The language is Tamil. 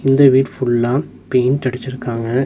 இந்த வீடு ஃபுல்லா பெயிண்ட் அடிச்சிருக்காங்க.